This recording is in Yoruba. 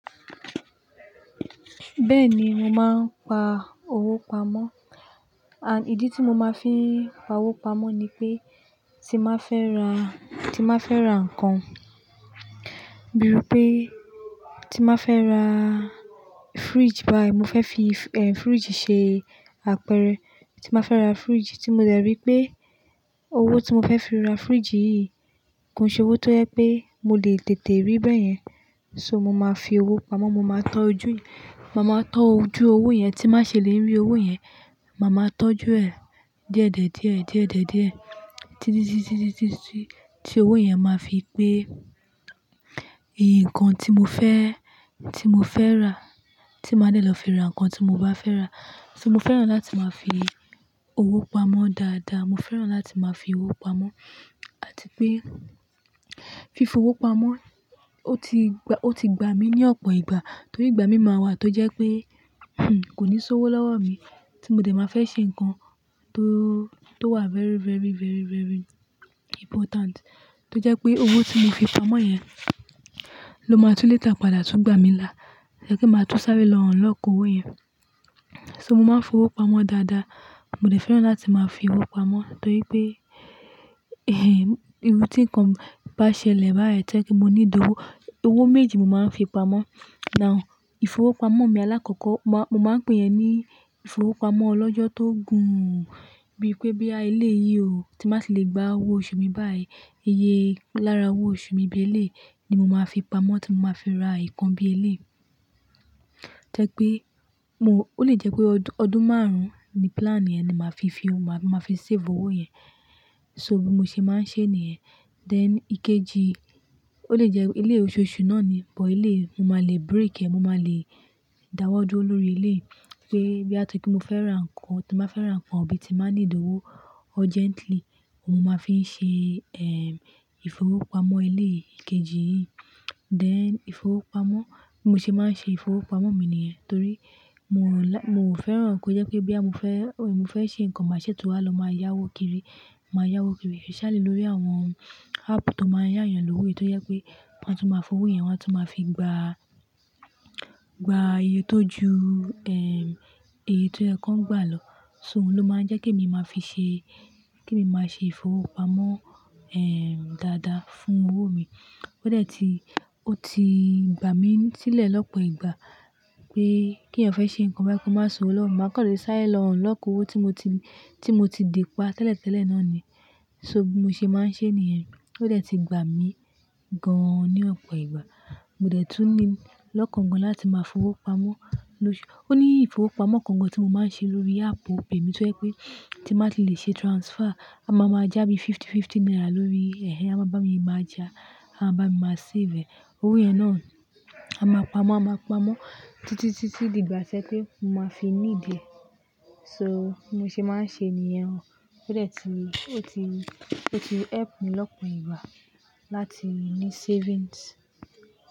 Bẹ́ẹ̀ ni mo máa ń pa owó pamọ́. And ìdí tí mo máa ń fi pa owó pamọ́ ni pé tí máa fẹ́ ra, tí máa fẹ́ ra ǹkan, bí pé tí máa fẹ́ ra fridge báyí, mo fẹ́ fi, eh, fridge ṣe àpẹrẹ. Tí máa fẹ́ ra fridge tí mo dẹ̀ rí pé owó tí mo fẹ́ fi ra fridge yí kò ṣe owó tó jẹ́ pé mo lè tètè rí báyẹn. So mo máa fi owó pamọ́, mo máa tọ́ ojú, mo máa tọ́ ojú owó yẹn tí má ṣe lè rí owó yẹn. Maa máa tọ́jú ẹ̀ díẹ̀díẹ̀díẹ̀, díẹ̀díẹ̀díẹ̀, títí, títí, títí tí owó yẹn máa fi pé ǹkan tí mo fẹ́, tí mo fẹ́ rà, tí máa ń dẹ̀ lọ fi ra ǹkan tí mo bá fẹ́ rà. So mo fẹ́ràn láti máa fi owó pamọ́ dada. Mo fẹ́ràn láti máa fi owó pamọ́ àti pé fi owó pamọ́ ó ti gba, ó ti gba mi ní ọ̀pọ̀ ìgbà. Torí ìgbà mi máa wà tó jẹ́ pé, hm, kò ní sowó lọ́wọ́ mi tí mo dẹ̀ máa fẹ́ ṣe ǹkan tó, tó wà very, very, very, very important tó jẹ́ pé owó tí mo fi pamọ́ yẹn ló máa tún later padà tún gbà mí là. Jẹ́ kí n máa tún sáré lọ run lọ́ko owó yẹn. So mo máa ń fowó pamọ́ dada. Mo dẹ̀ fẹ́ràn láti máa fi owó pamọ́ torí pé,, irú tí ǹkan bá ṣẹlẹ̀ bayì jẹ́ kí mo ní owó, owó méjì mo máa ń fi pamọ́. Now, ìfowópamọ́ mi alákọ́kọ́, mo máa ń pè yẹn ní ìfowópamọ́ ọlọ́jọ́ tó gùn ún. Bí pé boya elé yí o, tí bá tì lè gba owó oṣù mi báyì, iye lára owó oṣù mi bi elé yi mo máa fi pamọ́ tí mo máa fi ra ìkan bí i ilé. Jẹ́ pé mo-- ó lè jẹ́ pé ọdún márùn-ún ni plan yẹn ni màá fi fi, màá fi save owó yẹn. So bí mo ṣe máa ń ṣe nìyẹn. Then ìkejì, ó lè jẹ́ ilé oṣooṣù náà ni, but elé mo máa lè break ẹ̀, mo máa lè dáwọ́ duro lórí elé pé boya tori pe mo fẹ́ ra ǹkan, tí máa fẹ́ ra nkan bí ti máa ní owó urgently mo máa fi ń ṣe, ẹm, ìfowópamọ́ elé ìkejì yì. Then ìfowópamọ́, bí mo ṣe máa ń ṣe ìfowópamọ́ mi nìyẹn. Torí mo like-- mo ò fẹ́ràn kó jẹ́ pé boya mo fẹ́, mo fẹ́ ṣe ǹkan màá ṣètò wá lọ máa yá owó kiri, máa yá owó kiri especially lórí àwọn app tó máa ń yá yàn lówó. Èyí tó jẹ́ pé wọ́n á tún máa fowó yẹn, wọ́n á tún máa fi gba, gba iye tó ju, ẹ, iye tó jẹ́ kí wọ́n gbà lọ. So òun ló máa ń jẹ́ kí èmi máa fi ṣe, kí èmi máa ṣe ìfowópamọ́, ẹm, dáda fún owó mi. Ó dẹ̀ ti, ó ti gba mi sílẹ̀ lọ́pọ̀ ìgbà pé kí ẹ̀yàn fẹ́ ṣe nkan bá, kó má sọ owó lọ́wọ́ mi. Máa kàn le sáré lọ unlock owó tí mo ti, tí mo ti de pa tẹ́lẹ̀tẹ́lẹ̀ náà ni. So bí mo ṣe máa ń ṣe nìyẹn ó dẹ̀ ti gba mi gan-an ní ọ̀pọ̀ ìgbà. Mo dẹ̀ tún ní lọ́kàngán láti máa fowó pamọ́. O ní ìfowópamọ́ kan kan tí mo máa ń ṣe lórí app Opay mi tó jẹ́ pé tí màá ti le ṣe transfer á máa maa já fifty-fifty naira lórí ẹhẹhẹ, á máa bá mi máa já, á bá mi máa save e. Owó yẹn náà a máa pamọ́, a máa pamọ́ títí, títí di ìgbà tí ẹ́ pé mo máa fi ní idi è. So bí mo ṣe máa ń ṣe nìyẹn ó dẹ̀ ti, ó ti, ó ti help mi lọ́pọ̀ ìgbà láti ní savings.